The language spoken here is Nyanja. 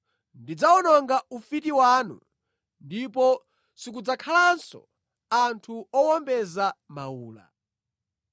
Ndidzawononga ufiti wanu ndipo sikudzakhalanso anthu owombeza mawula.